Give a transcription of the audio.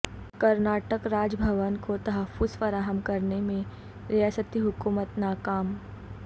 کرناٹک راج بھون کو تحفظ فراہم کرنے میں ریاستی حکومت ناکام